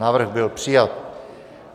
Návrh byl přijat.